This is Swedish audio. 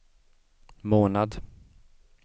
månad